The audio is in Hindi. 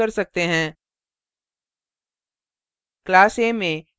अब हम अभ्यास कर सकते हैं